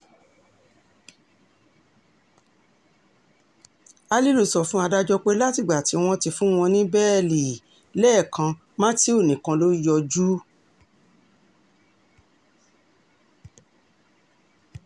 alilu sọ fún adájọ́ pé látìgbà tí wọ́n ti fún wọn ní bẹ́ẹ́lí um lẹ́kàn matthew nìkan ló yọjú um